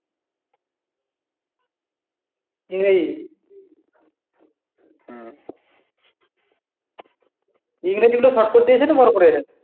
ইংরেজী ইংরেজী গুলো ইংরেজী short করে দিয়েছে না কি বড় করে